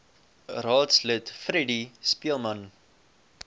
raadslid freddie speelman